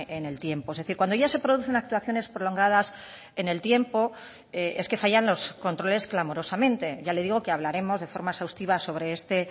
en el tiempo es decir cuando ya se producen actuaciones prolongadas en el tiempo es que fallan los controles clamorosamente ya le digo que hablaremos de forma exhaustiva sobre este